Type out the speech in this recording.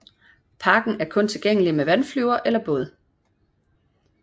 Parken er kun tilgængelig med vandflyver eller båd